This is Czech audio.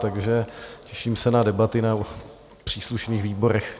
Takže těším se na debaty na příslušných výborech.